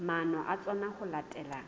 maano a tsona ho latela